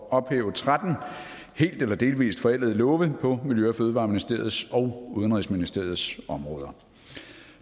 at ophæve tretten helt eller delvis forældede love på miljø og fødevareministeriets og udenrigsministeriets områder